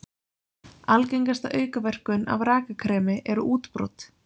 Algengasta aukaverkun af rakakremi eru útbrot.